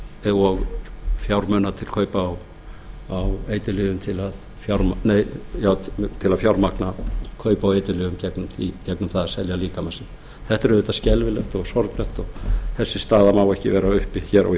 viðurværis og fjármuna til kaupa á eiturlyfjum til að fjármagna kaup á eiturlyfjum í gegnum það að selja líkama sinn þetta er auðvitað skelfilegt og sorglegt og þessi staða má ekki vera uppi hér á